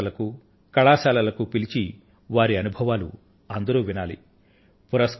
పాఠశాలలకు కళాశాలలకు పిలిచి వారి అనుభవాలను అందరూ వినాలి